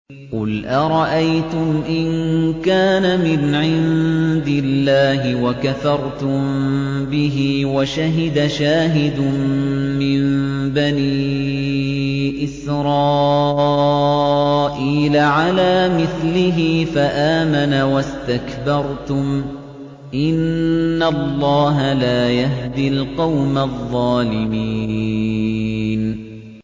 قُلْ أَرَأَيْتُمْ إِن كَانَ مِنْ عِندِ اللَّهِ وَكَفَرْتُم بِهِ وَشَهِدَ شَاهِدٌ مِّن بَنِي إِسْرَائِيلَ عَلَىٰ مِثْلِهِ فَآمَنَ وَاسْتَكْبَرْتُمْ ۖ إِنَّ اللَّهَ لَا يَهْدِي الْقَوْمَ الظَّالِمِينَ